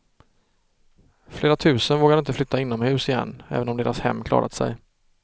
Flera tusen vågar inte flytta inomhus igen, även om deras hem klarat sig.